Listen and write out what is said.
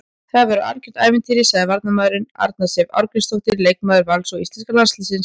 Þetta verður algjört ævintýri, sagði varnarmaðurinn, Arna Sif Ásgrímsdóttir leikmaður Vals og íslenska landsliðsins.